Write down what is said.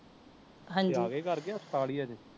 ਹਾਂਜੀ ਤੇ ਅਗੇ ਘਰ ਕੇ ਹਸਪਤਾਲ ਹੀ ਅਜੇ